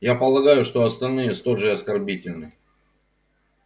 я полагаю что остальные столь же оскорбительны